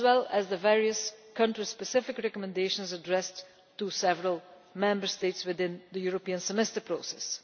and the various country-specific recommendations addressed to several Member States within the European Semester process.